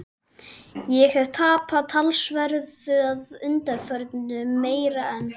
Ég hef tapað talsverðu að undanförnu- meira en